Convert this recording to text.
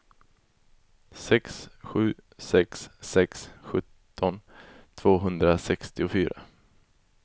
sex sju sex sex sjutton tvåhundrasextiofyra